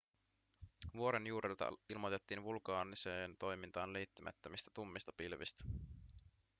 vuoren juurelta ilmoitettiin vulkaaniseen toimintaan liittymättömistä tummista pilvistä